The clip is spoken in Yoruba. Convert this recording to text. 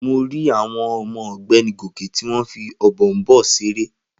Mo rí àwọn ọmọ ọ̀gbẹ́ni Gòkè tí wọ́n fí Ọ̀bọ̀ọ̀nbọọ̀n seré